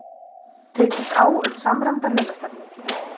Tekist á um samræmda launastefnu